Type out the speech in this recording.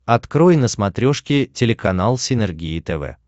открой на смотрешке телеканал синергия тв